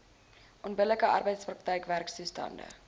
onbillike arbeidsprakryk werktoestande